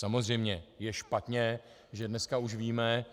Samozřejmě je špatně, že dneska už víme,